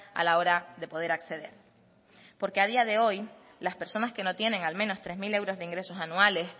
a la hora de poder acceder porque a día de hoy las personas que no tienen al menos tres mil euros de ingresos anuales